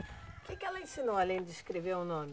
O que que ela ensinou, além de escrever o nome?